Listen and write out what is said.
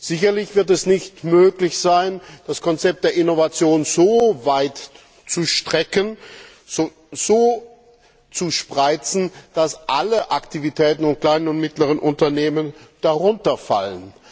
Sicherlich wird es nicht möglich sein, das Konzept der Innovation so weit zu strecken, so breit zu fassen, dass alle Aktivitäten und alle kleinen und mittleren Unternehmen darunter fallen.